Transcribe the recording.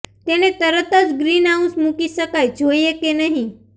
તેને તરત જ ગ્રીનહાઉસ મૂકી શકાય જોઈએ કે નહીં